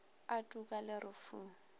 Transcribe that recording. a tuka le re fu